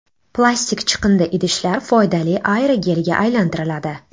Plastik chiqindi idishlar foydali aerogelga aylantiriladi.